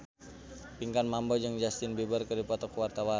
Pinkan Mambo jeung Justin Beiber keur dipoto ku wartawan